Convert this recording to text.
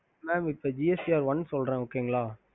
mam gst one சொல்ற